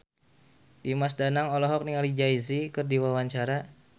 Dimas Danang olohok ningali Jay Z keur diwawancara